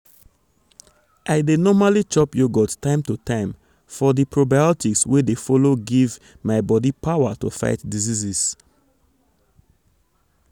i dey normally chop yogurt time to time for di probiotics wey dey follow give um my um body power to dey fight diseases.